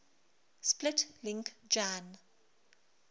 split link jan